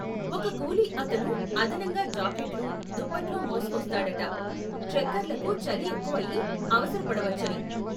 ఒక కూలి అతను అదనంగా జాకెట్లు, దుప్పట్లు మోసుకొస్తాడట, ట్రెకర్లకు చలి ఎక్కువయ్యి అవసరపడవచ్చని.